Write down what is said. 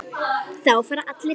Þá fara allir heim.